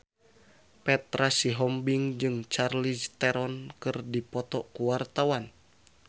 Petra Sihombing jeung Charlize Theron keur dipoto ku wartawan